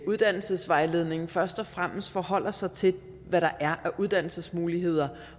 uddannelsesvejledningen først og fremmest forholder sig til hvad der er af uddannelsesmuligheder